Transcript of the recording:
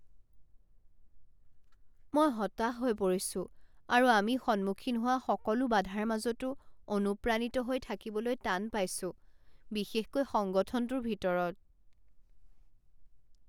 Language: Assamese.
মই হতাশ হৈ পৰিছোঁ আৰু আমি সন্মুখীন হোৱা সকলো বাধাৰ মাজতো অনুপ্ৰাণিত হৈ থাকিবলৈ টান পাইছোঁ, বিশেষকৈ সংগঠনটোৰ ভিতৰত।।